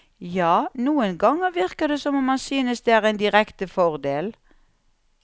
Ja, noen ganger virker det som om han synes det er en direkte fordel.